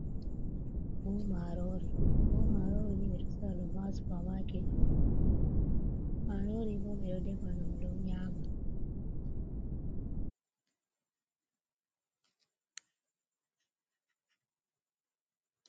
Buhu marori, buhu marori ni ɓe ɗo sorra ɗum ha supamaket on. Marori bo ɓe ɗo ɗefa dum don nyama.